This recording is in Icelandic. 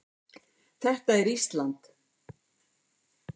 Þetta er Ísland.